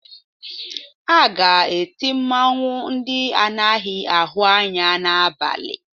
A ga-eti mmanwụ ndị anaghị ahụ anya n'abalị